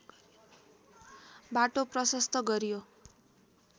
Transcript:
बाटो प्रशस्त गरियो